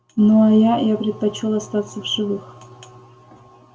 ну а я я предпочёл остаться в живых